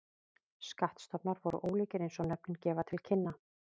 Skattstofnar voru ólíkir eins og nöfnin gefa til kynna.